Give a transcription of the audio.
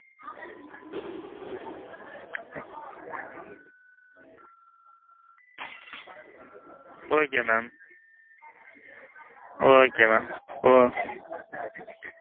okay mam. okay mam. okay.